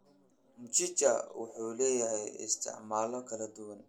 Mchicha wuxuu leeyahay isticmaalyo kala duwan.